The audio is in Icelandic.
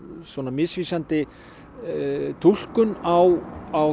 misvísandi túlkun á